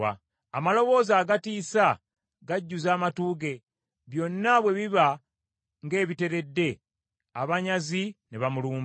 Amaloboozi agatiisa gajjuza amatu ge; byonna bwe biba ng’ebiteredde, abanyazi ne bamulumba.